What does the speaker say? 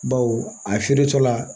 Baw a feere tɔ la